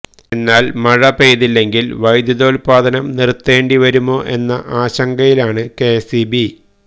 എന്നാല് മഴ പെയ്യ്തില്ലെങ്കില് വൈദ്യുതോല്പാദനം നിര്ത്തേണ്ടി വരുമോ എന്ന ആശങ്കയിലാണ് കെഎസ്ഇബി